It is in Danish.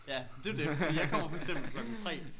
Ja det er jo det fordi jeg kommer for eksempel klokken 3